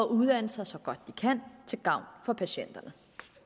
uddannelser så godt de kan til gavn for patienterne